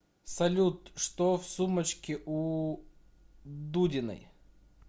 салют что в сумочке у дудиной